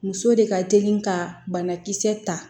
Muso de ka teli ka banakisɛ ta